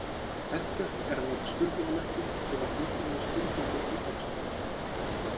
Hentugt er að nota spurningarmerki til að tilgreina spurningu í texta.